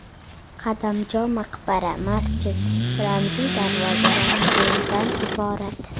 Qadamjo maqbara, masjid, ramziy darvoza va muzeydan iborat.